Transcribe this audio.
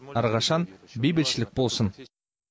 әрқашан бейбітшілік болсын